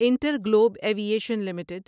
inter Globe aviation limited